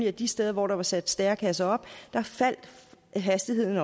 at de steder hvor der var sat stærekasser op faldt hastigheden